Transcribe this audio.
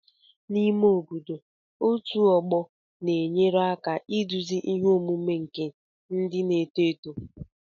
N'ime obodo, otu ọgbọ na-enyere aka iduzi ihe omume nke ndị na-eto eto